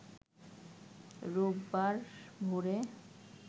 রোববার ভোরে